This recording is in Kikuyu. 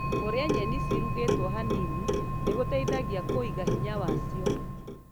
Kũrĩa nyeni cĩrũgĩtuo hanini nĩ gũteithagia kũga hinya wacio.